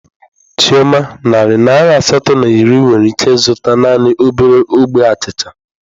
Chioma, narị naira asatọ na iri nwere ike ịzụta naanị obere ogbe achịcha